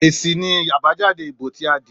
Èsì ni àbájáde ìbò tí a dì í